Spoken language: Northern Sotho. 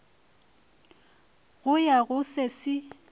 go ya go se se